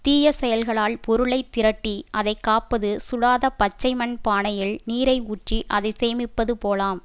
தீய செயல்களால் பொருளை திரட்டி அதை காப்பது சுடாத பச்சைமண் பானையில் நீரை ஊற்றி அதை சேமிப்பது போலாம்